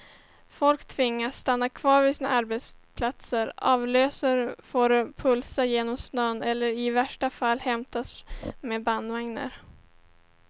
Folk tvingas stanna kvar på sina arbetsplatser, avlösare får pulsa genom snön eller i värsta fall hämtas med bandvagnar.